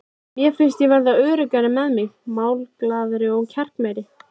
Mér fannst ég verða öruggari með mig, málglaðari og kjarkmeiri.